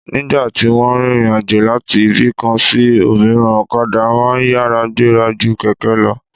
Nígbà tí wọ́n ń rìnrìn àjò láti ibì kan sí òmíràn, okadà máa ń yára gbéra ju kẹ̀kẹ́ lọ